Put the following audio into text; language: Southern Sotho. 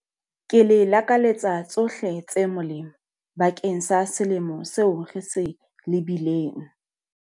Ke le lakaletsa tshohle tse molemo bakeng sa selemo seo re se lebileng.